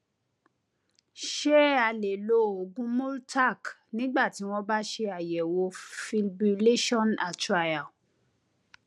ṣé a lè lo oògùn multaq nígbà tí wọn bá ṣe àyẹwò fibrillation atrial